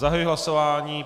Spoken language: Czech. Zahajuji hlasování.